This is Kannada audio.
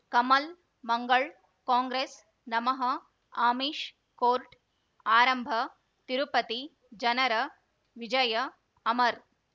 ಕಮಲ್ ಮಂಗಳ್ ಕಾಂಗ್ರೆಸ್ ನಮಃ ಅಮಿಷ್ ಕೋರ್ಟ್ ಆರಂಭ ತಿರುಪತಿ ಜನರ ವಿಜಯ ಅಮರ್